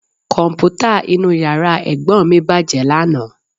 Kọ̀m̀pútà inú yàrá Ẹ̀gbọ́n mi bàjẹ́ lánàá